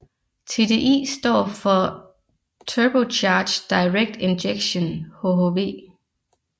TDI står for Turbocharged Direct Injection hhv